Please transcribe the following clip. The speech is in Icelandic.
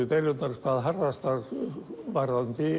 deilurnar urðu hvað harðastar varðandi